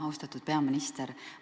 Austatud peaminister!